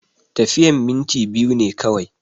Tafiyan minti biyu ne kawai